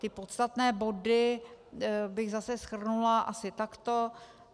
Ty podstatné body bych zase shrnula asi takto.